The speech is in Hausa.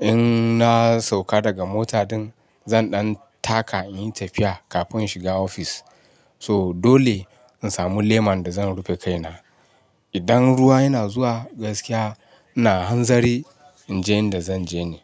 in na sauka daga mota din, zan ɗan taka in yi tafiya kafin shiga ofis. To dole in samu leman da zan rufe kaina. Idan ruwa yana zuwa, gaskiya. Ina hanzari in je inda zan je ne.